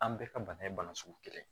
An bɛɛ ka bana ye bana sugu kelen ye